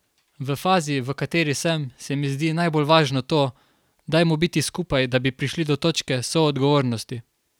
V fazi, v kateri sem, se mi zdi najbolj važno to, dajmo biti skupaj, da bi prišli do točke soodgovornosti.